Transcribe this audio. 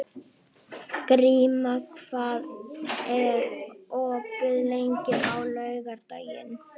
Gríma, hvað er opið lengi á laugardaginn?